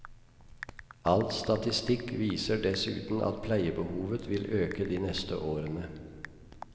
All statistikk viser dessuten at pleiebehovet vil øke de neste årene.